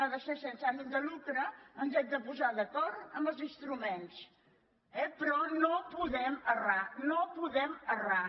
ha de ser sense ànim de lucre ens hem de posar d’acord en els instruments eh però no podem errar no podem errar